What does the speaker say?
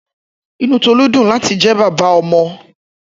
Inú Tọlú dùn láti jẹ́ bàbá ọmọ